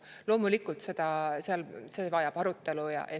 Loomulikult, see vajab arutelu.